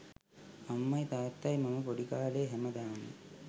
අම්මයි තාත්තයි මම පොඩි කාලේ හැමදාම